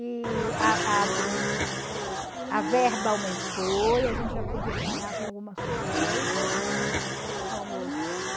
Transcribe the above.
E a a o a verba aumentou e a gente já podia sonhar com algumas coisas, né?